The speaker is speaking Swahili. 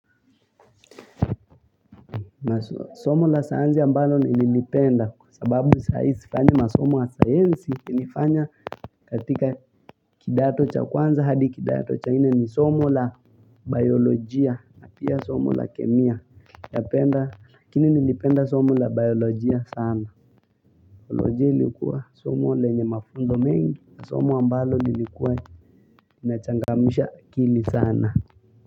Na somo la sayansi ambalo nililipenda kwa sababu sai sifanyi masomo ya sayansi Nilifanya katika kidato cha kwanza hadi kidato cha nne ni somo la biolojia na pia somo la kemia napenda Lakini nilipenda somo la biolojia sana biolojia ilikuwa somo lenye mafunzo mengi na somo ambalo lilikuwa inachangamsha akili sana.